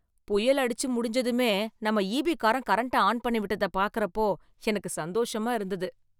புயல் அடிச்சு முடிஞ்சதுமே நம்ம ஈபி காரன் கரண்ட்டை ஆன் பண்ணி விட்டத பார்க்கறப்போ எனக்கு சந்தோஷமா இருந்தது